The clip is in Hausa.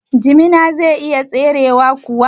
Jimina zai iya firewa kuwa?